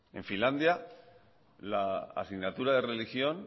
en finlandia país ejemplar la asignatura de religión